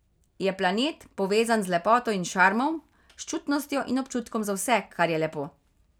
Je planet, povezan z lepoto in šarmom, s čutnostjo in občutkom za vse, kar je lepo.